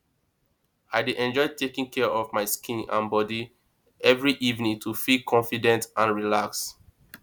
i dey enjoy taking care of my skin and body every evening to feel confident and relaxed